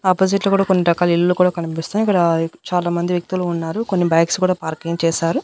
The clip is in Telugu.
ఆపోజిట్ లో కూడా కొన్ని రకాల ఇల్లులు కూడా కనిపిస్తనయ్ ఇక్కడ చాలామంది వ్యక్తులు ఉన్నారు కొన్ని బైక్స్ కూడా పార్కింగ్ చేశారు.